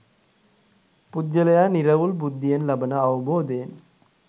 පුද්ගලයා නිරවුල් බුද්ධියෙන් ලබන අවබෝධයෙන්